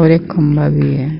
और एक खंभा भी है।